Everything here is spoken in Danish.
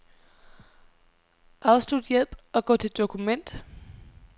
Afslut hjælp og gå til dokument.